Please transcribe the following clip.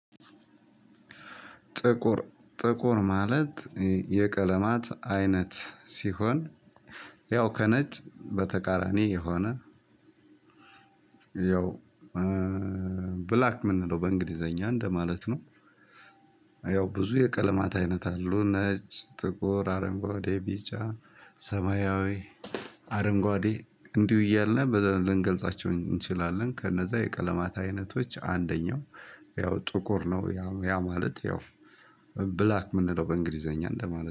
ጥቁር ጥቁር ማለት የቀለማት አይነት ሲሆን ያው ከነጭ በተቃራኒ የሆነ ያው ብላክ ምንለው በእንግሊዘኛ እንደማለት ነው። ያው ብዙ የቀለማት አይነት አሉ። ነጭ፣ ጥቁር፣ አረንጓዴ፣ ቢጫ፣ ሰማያዊ አረንጓዴ እንዲሁ እያልን ብለን ልንገልጻቸው እንችላለን ከነዛ የቀለማት አይነቶች አንደኛው ያው ጥቁር ነው። ያ ማለት ያው ብላክ ምንለው በእንግሊዘኛ እንደማለት